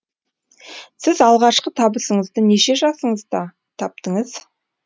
сіз алғашқы табысыңызды неше жасыңызда таптыңыз